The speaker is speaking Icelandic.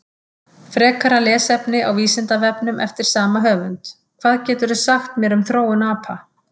Frekara lesefni á Vísindavefnum eftir sama höfund: Hvað geturðu sagt mér um þróun apa?